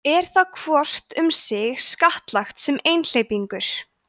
er þá hvort um sig skattlagt sem einhleypingur